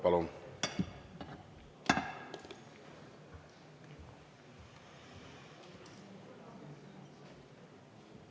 Palun!